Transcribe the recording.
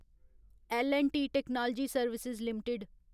L N T technology services limited